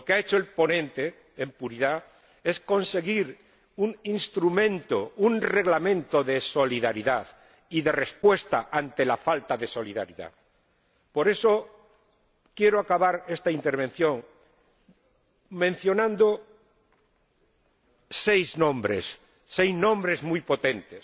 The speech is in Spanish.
Lo que ha hecho el ponente, en puridad, es conseguir un instrumento, un reglamento de solidaridad y de respuesta ante la falta de solidaridad. Por eso, quiero acabar esta intervención mencionando seis nombres, seis nombres muy potentes.